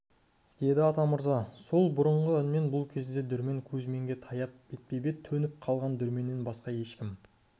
деді атамырза сол бұрынғы үнмен бұл кезде дүрмен кузьминге таяп бетпе-бет төніп қалған дүрменнен басқа ешкім